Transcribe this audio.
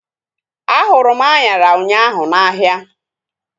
A hụrụ m anyara ụnyaahụ n'ahia